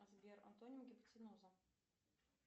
сбер антоним гипотенуза